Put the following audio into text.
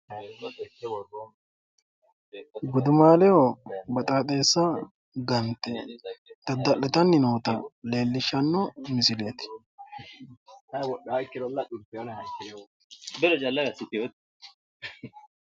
gudumaaleho baxaaxeessa gante dada'litanni noota leellishshanno misileeti.